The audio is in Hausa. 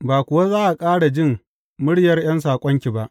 Ba kuwa za a ƙara jin muryar ’yan saƙonki ba.